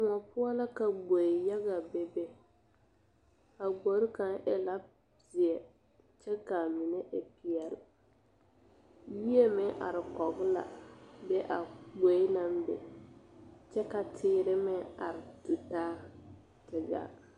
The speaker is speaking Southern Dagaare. Koɔ poɔ la ka gboe yaga bebe a gbori kaŋ e la zeɛ kyɛ k,a mine e peɛle neɛ meŋ are kɔge la be a gboe naŋ be kyɛ ka teere meŋ are tutaa te gaa.